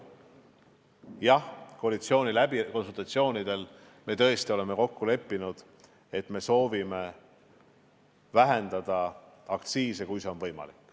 Jah, konsultatsioonidel me tõesti oleme kokku leppinud, et me soovime vähendada aktsiise, kui see on võimalik.